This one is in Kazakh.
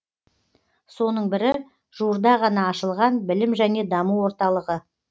соның бірі жуырда ғана ашылған білім және даму орталығы